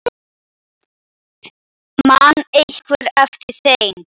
Man einhver eftir þeim?